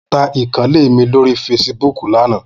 Mo ta ìkànnlé mi lórí feṣibúkù lánàá.